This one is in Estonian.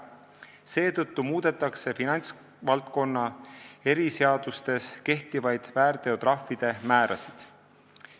Seetõttu muudetakse finantsvaldkonna eriseadustes kehtivaid väärteotrahvi määrasid.